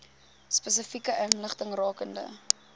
spesifieke inligting rakende